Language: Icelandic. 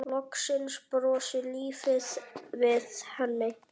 Loksins brosir lífið við henni.